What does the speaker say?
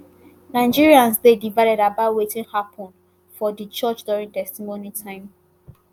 nigerians dey divided about wetin happun for di church during testimony time